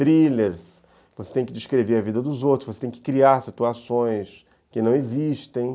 Thrillers, você tem que descrever a vida dos outros, você tem que criar situações que não existem.